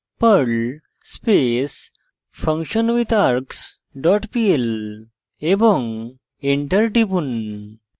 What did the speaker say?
perl space functionwithargs dot pl এবং enter টিপুন